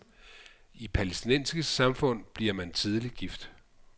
I palæstinensiske samfund bliver man tidligt gift.